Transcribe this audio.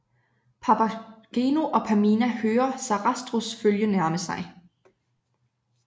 Papageno og Pamina hører Sarastros følge nærme sig